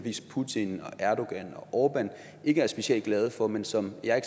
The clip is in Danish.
putin erdogan og orbán ikke er specielt glade for men som jeg